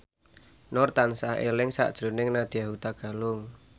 Nur tansah eling sakjroning Nadya Hutagalung